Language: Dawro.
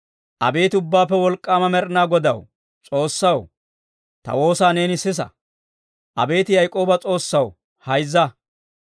Abeet Ubbaappe Wolk'k'aama Med'inaa Godaw S'oossaw, ta woosaa neeni sisa. Abeet Yaak'ooba S'oossaw, hayzza.